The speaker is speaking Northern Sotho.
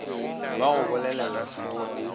ba go bolelela soding o